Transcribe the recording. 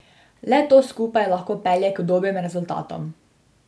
Le to skupaj lahko pelje k dobrim rezultatom.